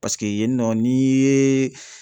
Paseke yen nɔ n'i ye